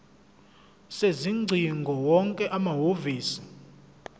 sezingcingo wonke amahhovisi